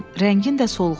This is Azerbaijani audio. Rəngin də solğundur.